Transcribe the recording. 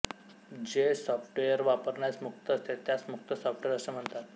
जे सॉफ्टवेअर वापरण्यास मुक्त असते त्यास मुक्त सॉफ्टवेर असे म्हणतात